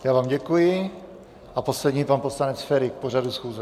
Já vám děkuji a poslední pan poslanec Feri k pořadu schůze.